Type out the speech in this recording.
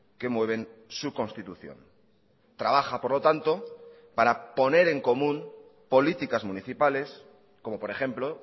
que mueven su constitución trabaja por lo tanto para poner en común políticas municipales como por ejemplo